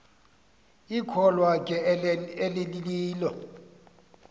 ikholwa ke elililo